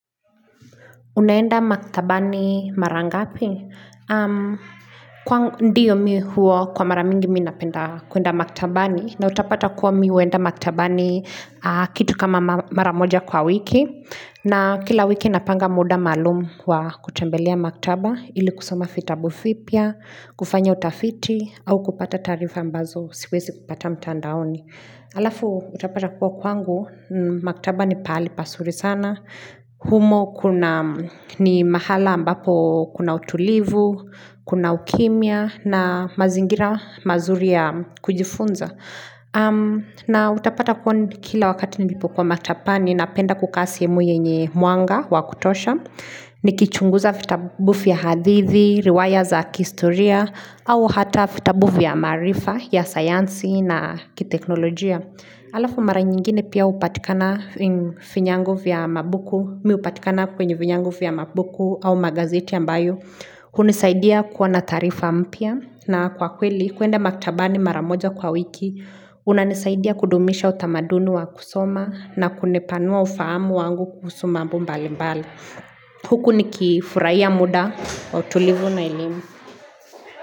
Unaenda maktabani mara ngapi? Ndiyo mimi huo kwa mara mingi minapenda kwenda maktabani na utapata kuwa mimi huenda maktabani kitu kama mara moja kwa wiki na kila wiki napanga muda malumu kwa kutembelea maktaba Ili kusoma fitabu vipya, kufanya utafiti au kupata taarifa ambazo siwezi kupata mtandaoni halafu utapata kuwa kwangu, maktaba ni pahali pasuri sana humo kuna ni mahala ambapo kuna utulivu, kuna ukimia na mazingira mazuri ya kujifunza na utapata kwa kila wakati nilipokuwa matapani napenda kukaa sehemu yenye mwanga wa kutosha ni kichunguza fitabu vya hadithi, riwaya za kihistoria au hata vitabu ya maarifa ya sayansi na kiteknolojia Alafu mara nyingine pia hupatikana kwenye vinyango vya mabuku au magazeti ambayo. Hunisaidia kuwa na taarifa mpya na kwa kweli kwenda maktabani mara moja kwa wiki. Unanisaidia kudumisha utamaduni wa kusoma na kunepanua ufahamu wangu kuhusu mambo mbalimbali. Huku ni kifurahia muda wa utulivu na elimu.